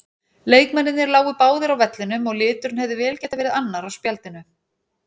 Leikmennirnir lágu báðir á vellinum og liturinn hefði vel getað verið annar á spjaldinu.